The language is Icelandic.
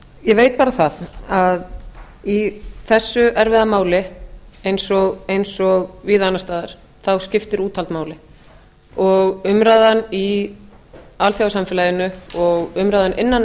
ég veit bara það að í þessu erfiða mál eins og víða annars staðar skiptir úthald máli umræðan í alþjóðasamfélaginu og umræðan innan